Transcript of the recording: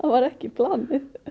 var ekki planið